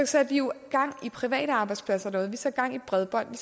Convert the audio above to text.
satte vi jo gang i private arbejdspladser derude vi satte gang i bredbånd vi